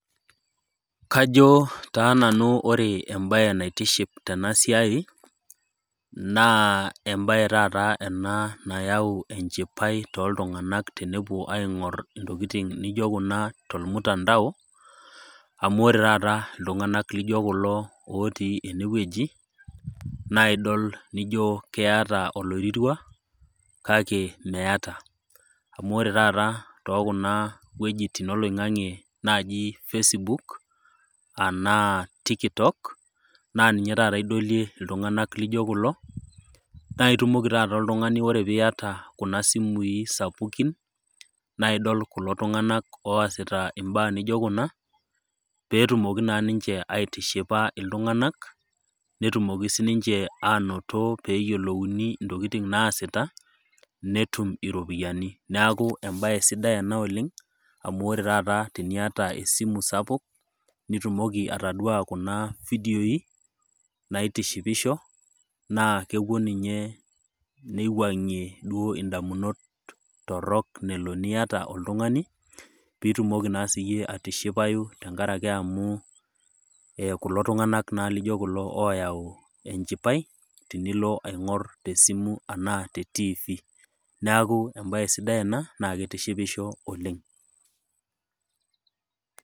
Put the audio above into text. Kajoo taa nanu ore embaye naitiship tenasiai naa embaye taata enaa nayau enchipai toltunganak tenepuo aing'orr intokitin nijo kuna tolmutandao amu ore tata iltung'anak lijo kulo otii enewueji naidol nijo keata oloirirua kake meata. Amu ore taata tookuna wuejitin oloing'ang'e naaji  fesbook anaa tikitok naa ninye tata idolie iltung'anak lijo kulo, naitumoki tata oltung'ani ore piiata kuna simui sapukin naaidol kulo tung'anak oasita imbaa nijo kuna peetumoki naa ninche aitishipa iltung'anak netumoki sininche anoto peeyiolouni intokitin naasita netum iropiyani. Neaku embaye sidai ena oleng' amu ore taata tiniata esimu sapuk, nitumoki ataduaa kuna vidioi naitishipisho naa kepuo ninye neiwuang'ie duo indamunot torrok nelo niata oltung'ani piitumoki naa siyie atishipayu tengarake amuu eh kulo tung'anak naa lijo oyau enchipai tinilo aing'orr tesimu anaa te tiifi. Neaku embaye sidai ena naakeitishipisho oleng'.